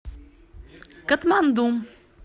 катманду